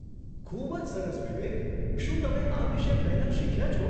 ખૂબ જ સરસ, વિવેક! શું તમે આ વિશે પહેલાં શીખ્યા છો?